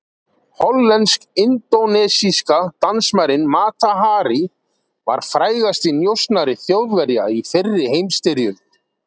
Hollensk-indónesíska dansmærin Mata Hari var frægasti njósnari Þjóðverja í fyrri heimsstyrjöld.